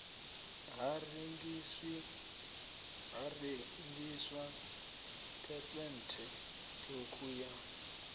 ha rengiswa phesenthe ṱhukhu ya